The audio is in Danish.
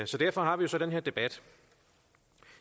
derfor har vi så den her debat